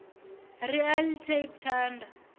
ri a ḽi tape thanda